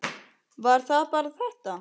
Var það bara þetta?